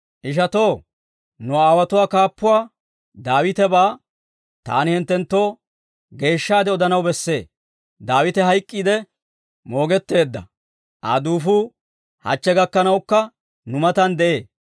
«Ishatoo, nu aawotuwaa kaappuwaa Daawitebaa taani hinttenttoo geeshshaade odanaw bessee; Daawite hayk'k'iide moogetteedda; Aa duufuu hachche gakkanawukka nu matan de'ee.